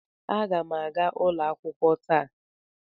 Aga m aga ụlọ akwụkwọ taa.